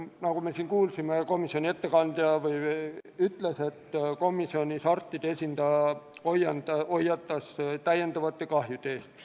Nagu komisjoni ettekandja ütles, komisjoni istungil arstide esindaja hoiatas täiendavate kahjude eest.